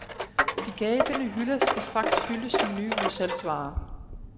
De gabende hylder skal straks fyldes med nye udsalgsvarer.